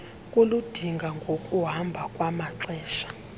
kuludinga ngokuhamba kwamaxesha